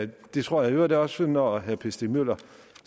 det tror jeg i øvrigt også når herre per stig møller